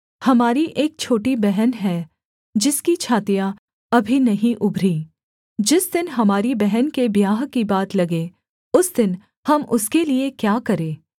हमारी एक छोटी बहन है जिसकी छातियाँ अभी नहीं उभरीं जिस दिन हमारी बहन के ब्याह की बात लगे उस दिन हम उसके लिये क्या करें